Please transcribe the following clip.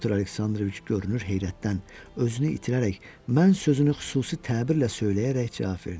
Pyotr Aleksandroviç görünür, heyrətdən özünü itirərək mən sözünü xüsusi təbirlə söyləyərək cavab verdi.